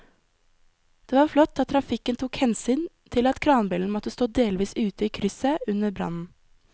Det var flott at trafikken tok hensyn til at kranbilen måtte stå delvis ute i krysset under brannen.